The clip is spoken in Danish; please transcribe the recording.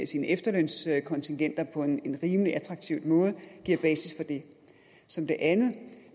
sine efterlønsindbetalinger på en rimelig attraktiv måde gav basis for det som det andet